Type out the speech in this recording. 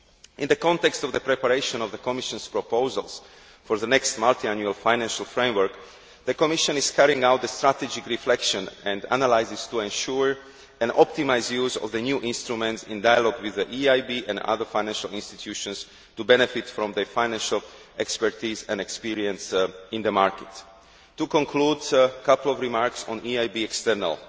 In the context of the preparation of the Commission's proposals for the next multiannual financial framework, the Commission is carrying out a strategic reflection and analysis to ensure an optimised use of the new instruments, in dialogue with the EIB and other financial institutions, to benefit from their financial expertise and experience in the market. To conclude, I would like to make a few remarks on the EIB's external